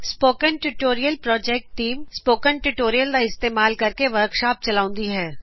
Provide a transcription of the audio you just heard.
spoken tutorial project team spoken tutorial ਦਾ ਉਪਯੋਗ ਕਰ ਕੇ ਵਰਕਸ਼ੋਪ ਵੀ ਚਲਾਉਂਦੀ ਹੈ